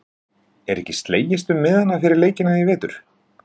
Er ekki slegist um miðana fyrir leikina í vetur?